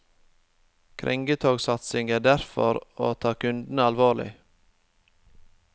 Krengetogsatsingen er derfor å ta kundene alvorlig.